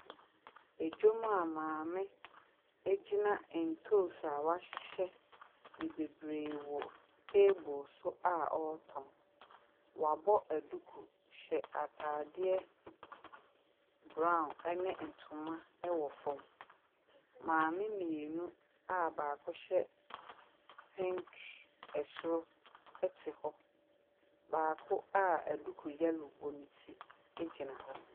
Dwam a maame gyina ntoosi a wahyehyɛ no bebree wɔ table so a ɔretɔn. Wɔabɔ duku hyɛ atadeɛ brown ne ntoma wɔ fam. Maame mmienu a baako hyɛ pink soro te hɔ. Baako a duku yellow bɔ ne ti gyinahɔ.